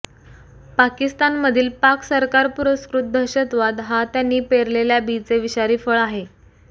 पाकिस्तानमधील पाक सरकारपुरस्कृत दहशतवाद हा त्यांनी पेरलेल्या बीचे विषारी फळ आहे